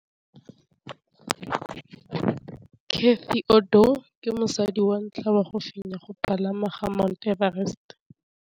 Cathy Odowd ke mosadi wa ntlha wa go fenya go pagama ga Mt Everest.